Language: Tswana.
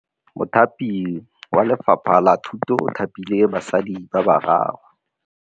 Mothapi wa Lefapha la Thutô o thapile basadi ba ba raro.